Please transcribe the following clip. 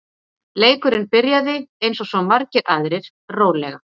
Leikurinn byrjaði, eins og svo margir aðrir, rólega.